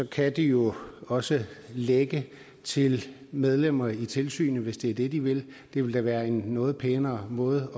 kan de jo også lække til medlemmer af tilsynet hvis det er det de vil det ville da være en noget pænere måde